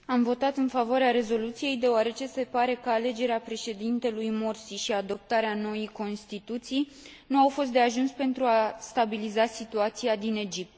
Am votat în favoarea rezoluției, deoarece se pare că alegerea Președintelui Morsi și adoptarea noii constituții nu au fost de ajuns pentru a stabiliza situația din Egipt.